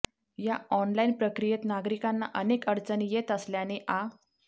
या ऑनलाईन प्रक्रियेत नागरिकांना अनेक अडचणी येत असल्याने आ